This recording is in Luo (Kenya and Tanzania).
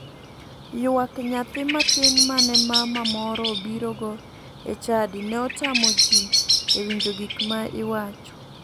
Ywak nyathi matin mane mama moro obirogo e chadi ne otamo ji e winjo gik ma iwach.